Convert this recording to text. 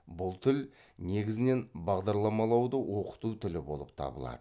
бұл тіл негізінен бағдарламалауды оқыту тілі болып табылады